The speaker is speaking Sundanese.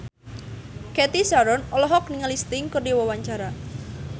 Cathy Sharon olohok ningali Sting keur diwawancara